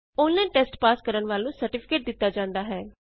online test pass ਕਰਨ ਵਾਲਿਆਂ ਨੂੰ ਸਰਟੀਫਿਕੇਟ ਦਿਤਾ ਜਾਂਦਾ ਹੈ